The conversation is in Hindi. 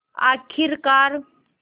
आख़िरकार